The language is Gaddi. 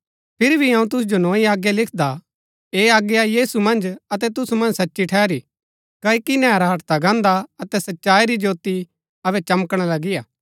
फिरी भी अऊँ तुसु जो नोई आज्ञा लिखदा हा ऐह आज्ञा यीशु मन्ज अतै तुसु मन्ज सच्ची ठहरी क्ओकि नैहरा हटदा गाहन्‍दा अतै सच्चाई री ज्योती अबै चमकणा लगीआ